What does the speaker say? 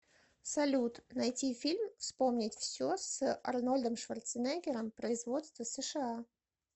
салют найти фильм вспомнить все с арнольдом шварценеггером производство сша